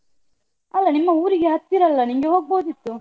ಅಲ್ಲ ನಿಮ್ಮ ಊರಿಗೆ ಹತ್ತಿರ ಅಲ್ಲ ನಿಂಗೆ ಹೋಗ್ಬೋದಿತ್ತು.